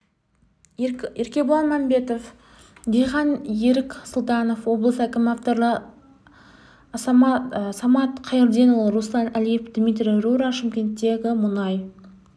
еркебұлан мәмбетов диқан ерік сұлтанов облыс әкімі авторлары самат қайырденұлы руслан әлиев дмитрий рура шымкенттегі мұнай